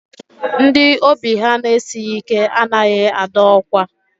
Ndị obi ha na-esighi ike anaghị adọ ọkwa.